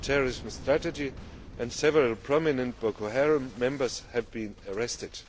terrorism strategy, and several prominent Boko Haram members have been arrested.